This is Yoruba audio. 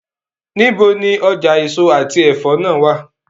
Nibo ni ọja eso ati ẹfọ naa wa?